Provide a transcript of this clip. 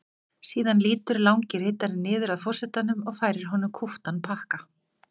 Síðan lýtur langi ritarinn niður að forsetanum og færir honum kúptan pakka.